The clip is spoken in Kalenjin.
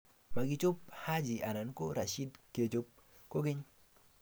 Makichob Haji anan ko Rashid kechob kokeny.